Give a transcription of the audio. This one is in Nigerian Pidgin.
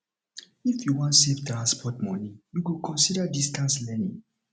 if you wan save transport moni you go consider distance learning